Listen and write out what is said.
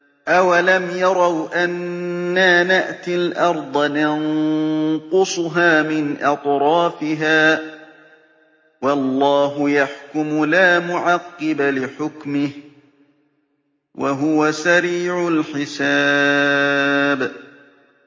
أَوَلَمْ يَرَوْا أَنَّا نَأْتِي الْأَرْضَ نَنقُصُهَا مِنْ أَطْرَافِهَا ۚ وَاللَّهُ يَحْكُمُ لَا مُعَقِّبَ لِحُكْمِهِ ۚ وَهُوَ سَرِيعُ الْحِسَابِ